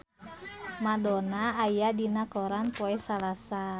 Madonna aya dina koran poe Salasa